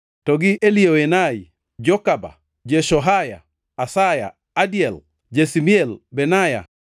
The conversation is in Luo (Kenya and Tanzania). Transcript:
to gi Elioenai, Jakoba, Jeshohaya, Asaya, Adiel, Jesimiel, Benaya,